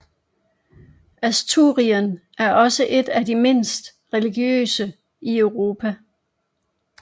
Asturien er også et af de mindst religiøse i Europa